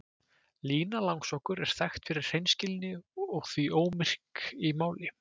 Lína langsokkur er þekkt fyrir hreinskilni og því ómyrk í máli.